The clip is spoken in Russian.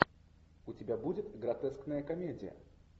у тебя будет гротескная комедия